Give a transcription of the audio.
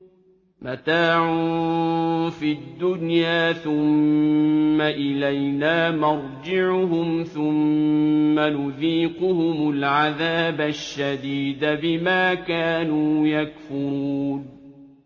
مَتَاعٌ فِي الدُّنْيَا ثُمَّ إِلَيْنَا مَرْجِعُهُمْ ثُمَّ نُذِيقُهُمُ الْعَذَابَ الشَّدِيدَ بِمَا كَانُوا يَكْفُرُونَ